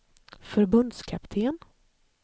förbundskapten